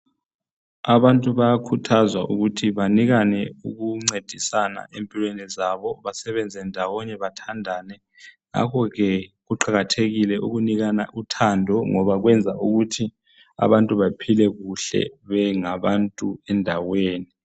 Abantu bayakhuthazwa ukuthi banikane ukuncedisana empilweni zabo. Basebenze ndawonye bathandane. Ngakho ke kuqakathekile ukunikana uthando ngoba kwenza ukuthi abantu baphile kuhle bengabantu endaweni .